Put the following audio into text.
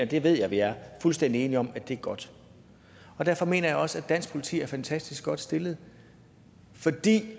det ved jeg vi er fuldstændig enige om er godt og derfor mener jeg også at dansk politi er fantastisk godt stillet fordi